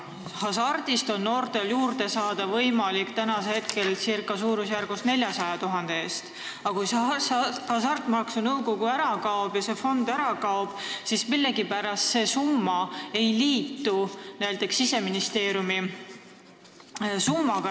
Hasartmängumaksu Nõukogust on noortel praegu võimalik juurde saada ca 400 000 eurot, aga kui see nõukogu ja see fond ära kaob, siis millegipärast see summa ei liitu näiteks Siseministeeriumi summaga.